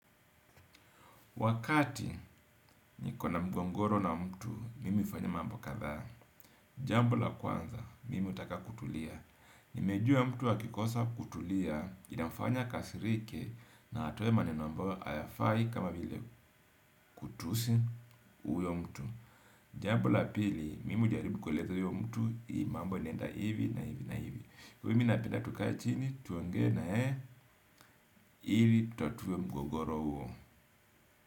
Wakati niko na mgogoro na mtu, mimi hufanya mambo kadhaa. Jambo la kwanza, mimi hutaka kutulia. Nimejua mtu akikosa kutulia, inamfanya akasirike na atoe maneno ambayo hayafai kama vile kutusi huyo mtu. Jambo la pili, mimi hujaribu kuleza huyo mtu, hii mambo inaenda hivi na hivi na hivi. Kwa mimi napenda tukae chini, tuongee na yeye, ili tutatuwe mgogoro huo.